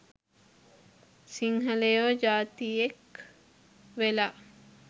සිංහලයො ජාතියෙක් වෙලා